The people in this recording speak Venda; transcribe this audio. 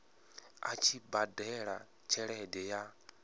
a tshi badela tshelede ya